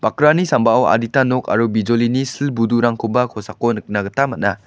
bakrani sambao adita nok aro bijolini sil budurangkoba kosako nikna gita man·a.